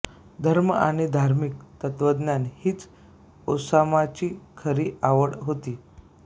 धर्म आणि धार्मिक तत्त्वज्ञान हीच ओसामाची खरी आवड होती